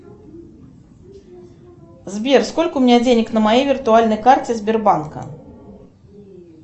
сбер сколько у меня денег на моей виртуальной карте сбербанка